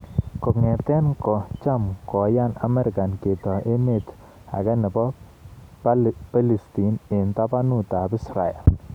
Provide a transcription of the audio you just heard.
Kong'ete ko cham ko yani Amerika ketoi emet age nebo Palestin eng tabanut ab Israel